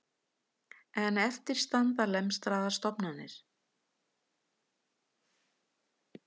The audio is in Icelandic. En eftir standa lemstraðar stofnanir